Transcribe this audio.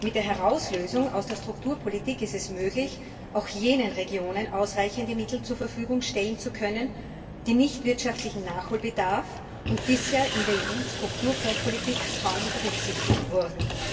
Mit der Herauslösung aus der Strukturpolitik ist es möglich, auch jenen Regionen ausreichende Mittel zur Verfügung zu stellen, die keinen wirtschaftlichen Nachholbedarf haben und bisher in der EU Strukturfondspolitik kaum berücksichtigt wurden.